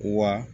Wa